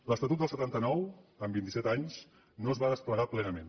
l’estatut del setanta nou en vint i set anys no es va desplegar plenament